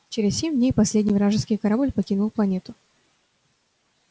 через семь дней последний вражеский корабль покинул планету